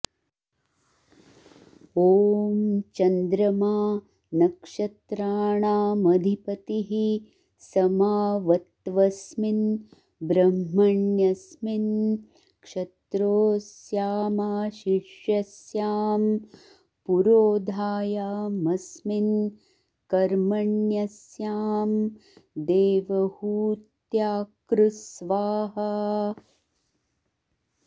ॐ चन्द्रमा नक्षत्राणामधिपतिः स माऽवत्वस्मिन् ब्रह्मण्यस्मिन् क्षत्रोऽस्यामाशिष्यस्यां पुरोधायामस्मिन् कर्मण्यस्यां देवहूत्याकृ स्वाहा